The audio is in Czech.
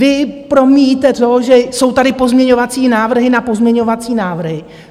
Vy promíjíte to, že jsou tady pozměňovací návrhy na pozměňovací návrhy.